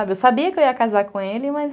Eu sabia que eu ia casar com ele, mas...